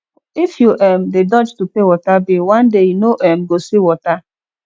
if you um dey dodge to pay water bill one day you no um go see water